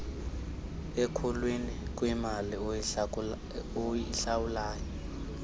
ekhulwini kwimali oyihlawula